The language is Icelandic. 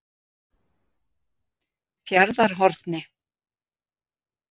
Fjarðarhorni